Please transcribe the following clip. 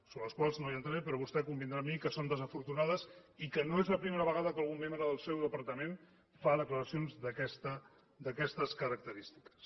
sobre les quals no entraré però vostè convindrà amb mi que són desafortunades i que no és la primera vegada que algun membre del seu departament fa declaracions d’aquestes característiques